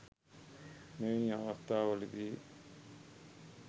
මෙවැනි අවස්ථා වලදී